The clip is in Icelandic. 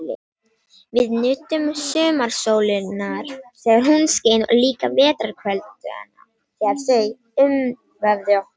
Við nutum sumarsólarinnar þegar hún skein og líka vetrarkvöldanna þegar þau umvöfðu okkur.